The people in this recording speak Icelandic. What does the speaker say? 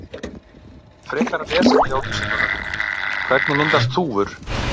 Frekara lesefni á Vísindavefnum: Hvernig myndast þúfur?